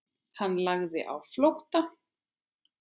Hann lagði á flótta.